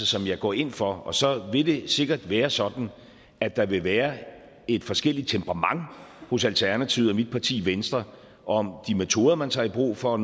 som jeg går ind for så vil det sikkert være sådan at der vil være et forskelligt temperament hos alternativet og i mit parti venstre om de metoder man tager i brug for